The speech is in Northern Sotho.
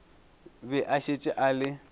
be a šetše a le